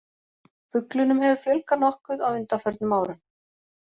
Fuglunum hefur fjölgað nokkuð á undanförnum árum.